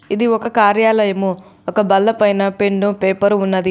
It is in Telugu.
ఇది ఒక కార్యాలయము ఒక బల్ల పైన పెన్ను పేపరు ఉన్నది.